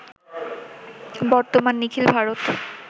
বর্তমান নিখিল-ভারত